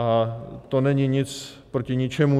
A to není nic proti ničemu.